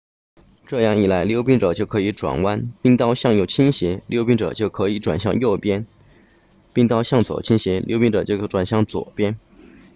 这样一来溜冰者就可以转弯冰刀向右倾斜溜冰者就转向右边冰刀向左倾斜溜冰者就转向左边